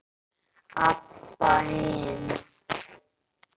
Abba hin.